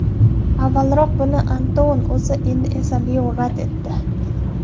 Avvalroq buni Antuanning o‘zi, endi esa Leo rad etdi.